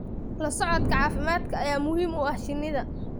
La socodka caafimaadka ayaa muhiim u ah shinnida.